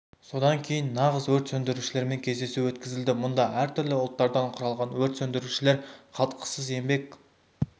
содан кейін нағыз өрт сөндірушілермен кездесу өткізілді мұнда әр түрлі ұлттардан құралған өрт сөндірушілер қалтқысыз еңбек